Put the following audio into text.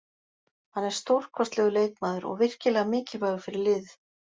Hann er stórkostlegur leikmaður og virkilega mikilvægur fyrir liðið.